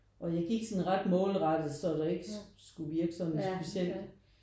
Og jeg gik sådan ret målrettet så det ikke skulle virke sådan specielt